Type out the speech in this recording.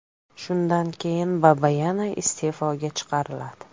Shunday keyin Babayan iste’foga chiqariladi.